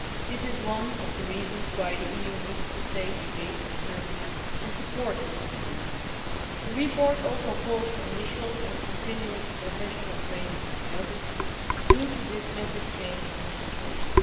This is one of the reasons why the EU needs to remain engaged with Serbia and support its reforms. The report also calls for initial and continuing professional training for judges in connection with this massive change in legislation.